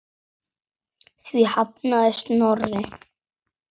Því hafnaði Snorri.